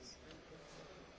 Herr Präsident!